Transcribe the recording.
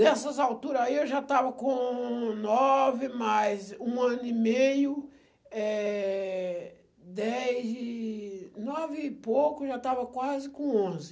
Nessas alturas aí eu já estava com nove, mais um ano e meio, eh, dez e... nove e pouco, já estava quase com onze.